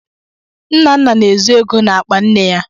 Nnanna na-ezu ego n’akpa nne ya.